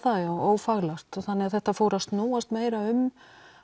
ófaglært þannig þetta fór að snúast meira um